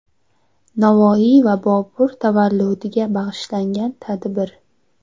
Navoiy va Bobur tavalludiga bag‘ishlangan tadbir.